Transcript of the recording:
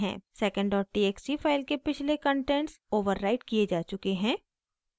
secondtxt file के पिछले contents overwrite किये जा चुके हैं